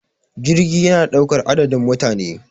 jirgi yana daukar adadin mutane